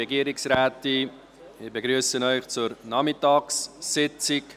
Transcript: Ich begrüsse Sie zur Nachmittagssitzung.